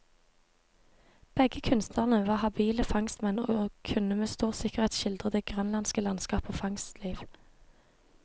Begge kunstnerne var habile fangstmenn, og kunne med stor sikkerhet skildre det grønlandske landskap og fangstliv.